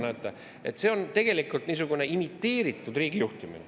Näete, see on tegelikult niisugune imiteeritud riigijuhtimine.